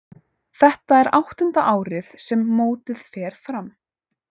Þetta er áttunda árið sem mótið fer fram.